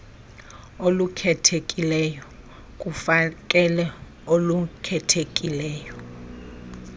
olukhethekileyo kufakelo olukhethekileyo